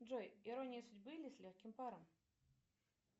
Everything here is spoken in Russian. джой ирония судьбы или с легким паром